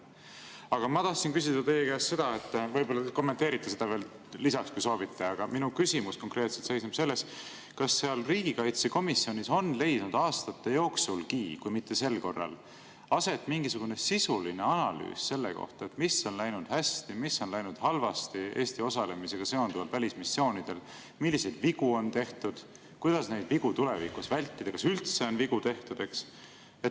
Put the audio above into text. Aga ma tahtsin küsida teie käest seda – võib-olla te kommenteerite ka eelnevat veel lisaks, kui soovite –, minu küsimus konkreetselt seisneb selles, kas riigikaitsekomisjonis on aastate jooksulgi, kui ka mitte sel korral, mingisugune sisuline analüüs selle kohta, mis on läinud hästi, mis on läinud halvasti Eesti välismissioonidel osalemisega seonduvalt, milliseid vigu on tehtud, kuidas neid vigu tulevikus vältida, kas üldse on vigu tehtud.